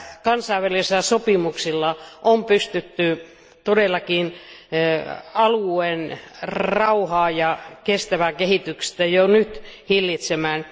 kansainvälisillä sopimuksilla on pystytty todellakin alueen rauhaa ja kestävää kehitystä jo nyt hillitsemään.